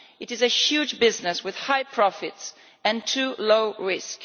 It is a huge business with high profits and too low a risk.